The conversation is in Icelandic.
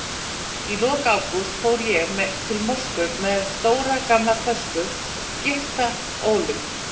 Í lok ágúst fór ég til Moskvu með stóra gamla tösku, gyrta ólum.